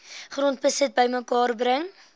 grondbesit bymekaar bring